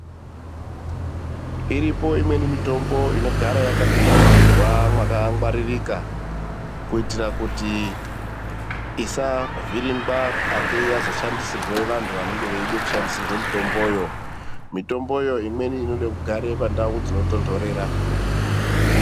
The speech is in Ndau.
Iripo imweni mitombo inogara yakadumaidziwa mwakangwaririka kuitira kuti isavhiringwa ateye yazoshandisirwe vantu anenge achide kushandisirwa mitombo yo imweni inoda kugara pa ndau dzinotondorera.